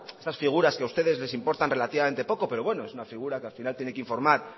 esta figuras que ustedes les importan relativamente poco pero bueno es una figura que al final tiene que informar